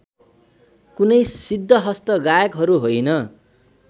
कुनै सिद्धहस्त गायकहरू होइन